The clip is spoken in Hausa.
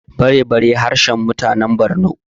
barebari harshen mutanen Borno